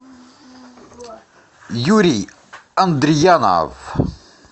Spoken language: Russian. юрий андриянов